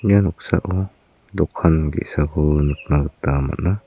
ia noksao dokan ge·sako nikna gita man·a.